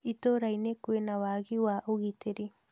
Itura0inĩ kwĩna wagi wa ũgitĩri